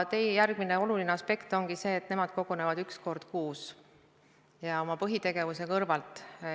Järgmine oluline aspekt ongi see, et nad kogunevad üks kord kuus ja oma põhitegevuse kõrvalt.